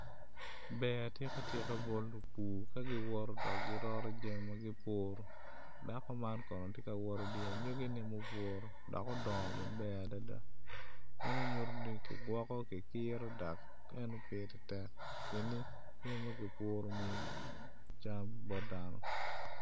Ber atika atika bot lupur ka giwoto kiroto jamigi ma gupuru dako man kono tye ka wot idye anyogine ma opuru dok odongo maber adada meno nyuto ni kigwoko gikiro dok ene bedo tek pien ni jami ma kipuru miyo cam bot dano